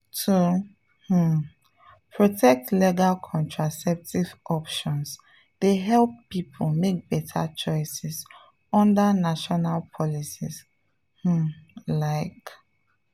to um protect legal contraceptive options dey help people make better choices under national policies um… like.